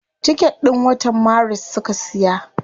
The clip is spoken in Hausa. Ticket din watan maris suka siya.